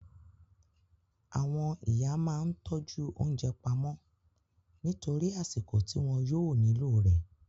Àwọn ìyá máa ń tọ́jú oúnjẹ pamọ́ nítorí àsìkò ti wọn yóò nílò rẹ